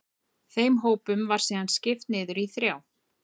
þeim hópum var síðan skipt niður í þrjá